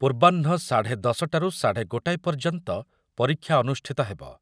ପୂର୍ବାହ୍ନ ସାଢ଼େ ଦଶ ଟାରୁ ସାଢ଼େ ଗୋଟାଏ ପର୍ଯ୍ୟନ୍ତ ପରୀକ୍ଷା ଅନୁଷ୍ଠିତ ହେବ ।